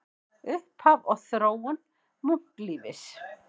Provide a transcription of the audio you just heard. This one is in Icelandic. Upphaf og þróun munklífis